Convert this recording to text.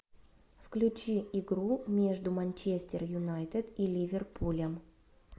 включи игру между манчестер юнайтед и ливерпулем